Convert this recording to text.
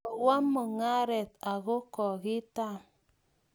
kowo mung'aret ako kokitam